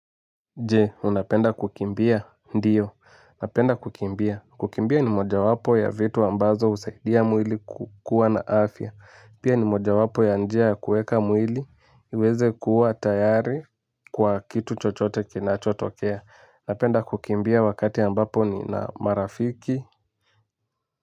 Je, unapenda kukimbia? Ndiyo. Napenda kukimbia. Kukimbia ni mojawapo ya vitu ambazo husaidia mwili kukuwa na afya. Pia ni mojawapo ya njia ya kueka mwili. Ueze kuwa tayari kwa kitu chochote kinachotokea. Unapenda kukimbia wakati ambapo nina marafiki.